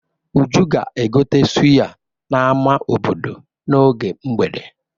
Uju ga-egote sụya n'ama obodo n'oge mgbede.